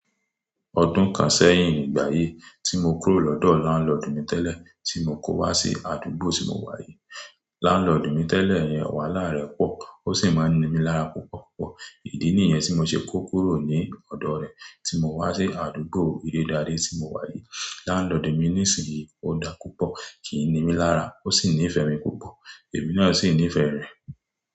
Ọdún kan sẹ́yìn nígbà yíi tí mo kúrò lọ́dọ̀ landlord mi tẹ́lẹ̀ tí mo kó wá sí àdúgbò tí mo wà yìí, landlord mi tẹ́lẹ̀ yẹn wàhálà rẹ̀ pọ̀, ó sì máa ń ni mí lára púpọ̀púpọ̀. Ìdí nìyẹn tí mo ṣe kó kúrò ní ọ̀dọ̀ rẹ̀ tí mo wá sí àdúgbò ìlédàáré tí mo wà yìí. Lánlọ̀dùn mi nísìnyí ò dá púpọ̀, kì í ni mí lára, ó sì nífẹ̀ẹ́ mi púpọ̀, èmi náà sì nífẹ̀ẹ́ rẹ̀.